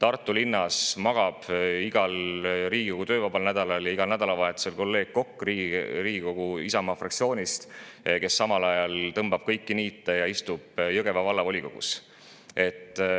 Igal Riigikogu vabal nädalal ja igal nädalavahetusel magab kolleeg Kokk Riigikogu Isamaa fraktsioonist Tartus, ja tema on see, kes tõmbab niite Jõgeva Vallavolikogus.